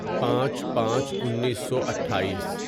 پانچ پانچ انیسو اٹھائیس